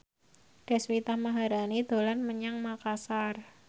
Deswita Maharani dolan menyang Makasar